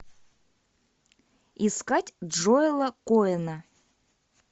искать джоэла коэна